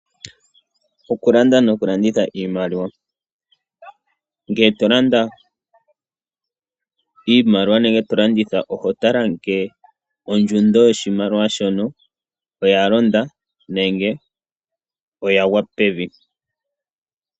Okulanda nokulanditha iimaliwa Ngee to landa iimaliwa nenge to landitha oho tala ngele ondjundo yoshimaliwa shono oya londa nenge oya gwa pevi.